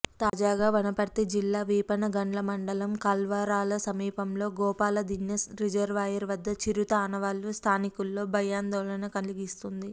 తాజాగా వనపర్తి జిల్లా వీపనగండ్ల మండలం కల్వరాల సమీపంలో గోపాలదీన్నే రిజర్వాయర్ వద్ద చిరుత ఆనవాళ్లు స్థానికుల్లో భయాందోళన కలిగిస్తుంది